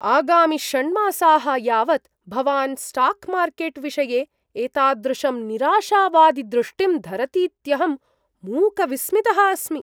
आगामि षण्मासाः यावत् भवान् स्टाक्मार्केट् विषये एतादृशं निराशावादिदृष्टिं धरतीत्यहं मूकविस्मितः अस्मि।